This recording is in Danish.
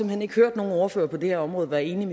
hen ikke hørt nogen ordfører på det her område være enig